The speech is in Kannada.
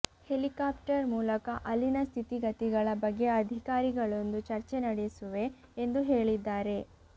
ಹೆಲಿಕಾಪ್ಟರ್ ಮೂಲಕ ಅಲ್ಲಿನ ಸ್ಥಿತಿಗತಿಗಳ ಬಗ್ಗೆ ಅಧಿಕಾರಿಗಳೊಂದು ಚರ್ಚೆ ನಡೆಸುವೆ ಎಂದು ಹೇಳಿದ್ದಾರೆ